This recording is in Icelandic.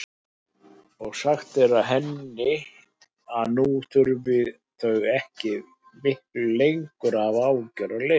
Og sagt henni að nú þyrftu þau ekki miklu lengur að hafa áhyggjur af leigunni.